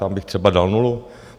Tam bych třeba dal nulu.